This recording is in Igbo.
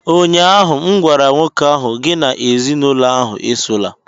ụnyahụ m gwara nwoke ahụ, gị na ezinụlọ ahụ esola!